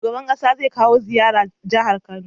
Shugaban ƙasa zai kawo ziyara jahar kano